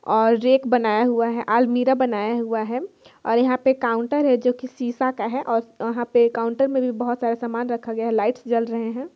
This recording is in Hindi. और रेख बनाया हुआ है अलमीरा बनाया हुआ है और यहाँ पे काउंटर है जो शीशा का है और वहां पे काउंटर में भी बहुत सारा सामान रखा गया है लाइट्स जल रहे है।